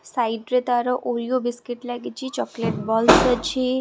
side ରେ ତାର Oreo biscuit ଲାଗିଛି ଚକଲେଟ୍ ବଲ୍ସ୍ ଅଛି --